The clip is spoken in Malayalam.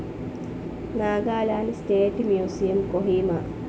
Nagaland state museum, Kohima